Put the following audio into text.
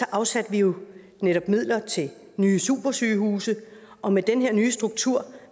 afsatte vi jo netop midler til nye supersygehuse og med den her nye struktur